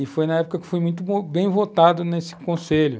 E foi na época que fui muito bem votado nesse conselho.